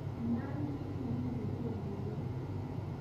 inaan kiit negipuchen buiwet